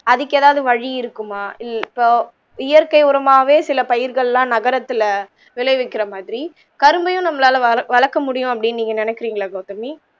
அதுக்கு எதாவது வழி இருக்குமா ம் இப்போ இயற்கை உரமாகவே சில பயிர்கள்லாம் நகரத்துல விளைவிக்கிற மாதிரி கரும்பையும் நம்மளால வளர்க முடியும் அப்பிடின்னு நீங்க நினைக்கிறீங்களா கவுதமி